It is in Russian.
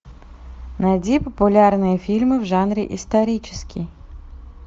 найди популярные фильмы в жанре исторический